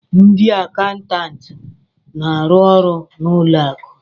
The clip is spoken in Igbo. Ndị akaụntantị na-arụ ọrụ na ụlọ akụ